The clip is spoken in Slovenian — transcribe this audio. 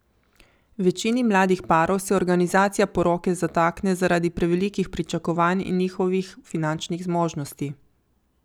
Večini mladih parov se organizacija poroke zatakne zaradi prevelikih pričakovanj in njihovih finančnih zmožnosti.